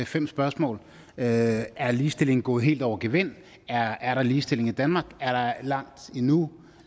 fem spørgsmål er er ligestillingen gået helt over gevind er er der ligestilling i danmark er der langt endnu